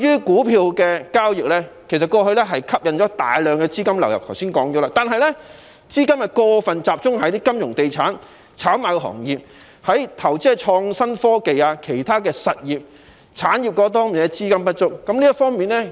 股票交易過往吸引了大量資金流入，但由於資金過分集中於金融、地產及炒賣行業，以致投資在創新科技及其他產業的資金不足。